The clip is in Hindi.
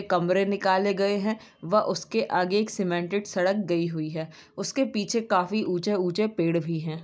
कमरे निकाले गए हैं वह उसके आगे एक सीमेंटेड सड़क गई हुई है उसके पीछे काफी ऊंचे ऊंचे पेड़ भी है।